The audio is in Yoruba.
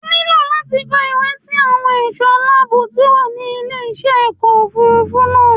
O ní láti kọ ìwé sí àwọn ẹ̀ṣọ́ aláàbọ̀ tí ó wà ní ilé iṣẹ́ ọkọ̀ òfurufú náà